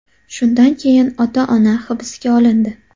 Shundan keyin ota-ona hibsga olindi.